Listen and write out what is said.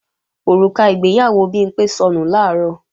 Òrùka ìgbéyàwó Bimpé sọnù làárọ̀